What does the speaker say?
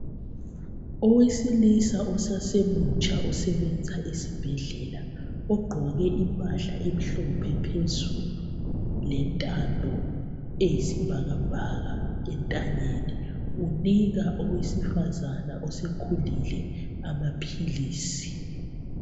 Owesilisa osasemutsha osebenza esibhedlela ugqoke impahla emhlophe phezulu lentambo eyisibhakabhaka entanyeni , unika owesifazane osekhulile amaphilisi